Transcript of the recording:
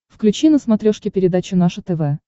включи на смотрешке передачу наше тв